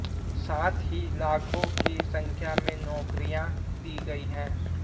साथ ही लाखों की संख्या में नौकरियां दी गयी है